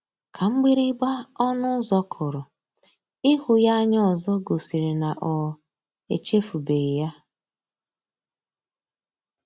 Ka mgbịrịgba ọnụ ụzọ kụrụ, ịhụ ya anya ọzọ gosiri na o echefubeghi ya.